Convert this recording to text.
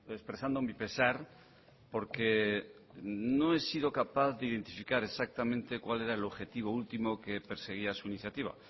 expresando mi pesar porque no he sido capaz de identificar exactamente cuál era el objetivo último que perseguía su iniciativa